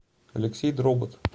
алексей дробот